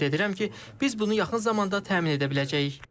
Ümid edirəm ki, biz bunu yaxın zamanda təmin edə biləcəyik.